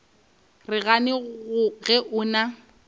re gane ge o na